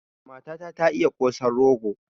Matata ba ta iya yi kosan rogo